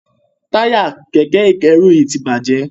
Taya Kẹ̀kẹ́ ìkẹ́rù yí tí bàjé.